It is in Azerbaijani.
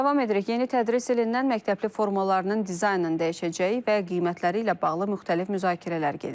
Davam edirik, yeni tədris ilindən məktəbli formalarının dizaynının dəyişəcəyi və qiymətləri ilə bağlı müxtəlif müzakirələr gedir.